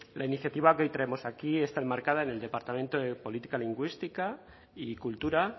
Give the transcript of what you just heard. la iniciativa que hoy traemos aquí está enmarcada en el departamento de política lingüística y cultura